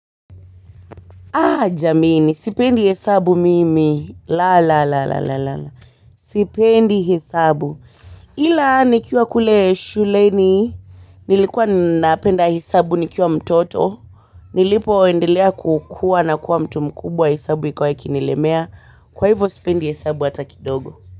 Jameni sipendi hesabu mimi. La, la, la, la, la, la. Sipendi hesabu. Ila nikiwa kule shuleni, nilikuwa napenda hesabu nikiwa mtoto, nilipoendelea kukua na kuwa mtu mkubwa hesabu ikawa ikinilemea. Kwa hivo, sipendi hesabu hata kidogo.